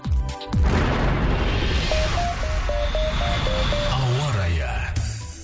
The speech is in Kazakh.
ауа райы